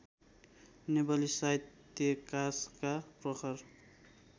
नेपाली साहित्याकाशका प्रखर